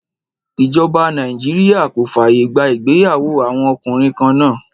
Ìjọba Nàìjíríà kò fàyè gba ìgbéyàwó àwọn ọkùnrin kan náà.